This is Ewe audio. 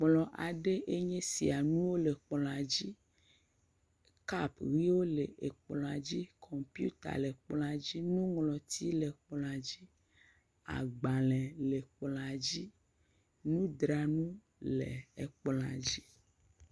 Kplɔ aɖe enye esia nuwo le kplɔa dzi, kap wole kplɔa dzi, kɔmpita lekplɔa dzi, nuŋlɔti le kplɔa dzi, agbalẽ le kplɔa dzi, nudranu le ekplɔa.